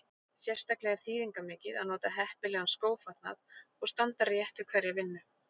Sérstaklega er þýðingarmikið að nota heppilegan skófatnað og standa rétt við hverja vinnu.